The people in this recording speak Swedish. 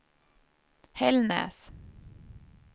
Hällnäs